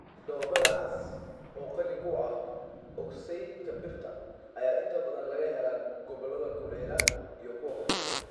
Dhoobada cas, oo qani ku ah oksaydhka birta, ayaa inta badan laga helaa gobollada kulaylaha iyo kuwa hoose.